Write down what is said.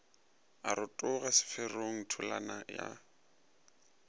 a rotoga seferong tholana a